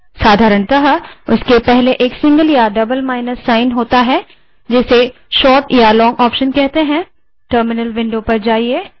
साधारणतः उनके पहले एक single या double माइनस चिन्ह होता है जिसे क्रमशः short या long option कहते हैं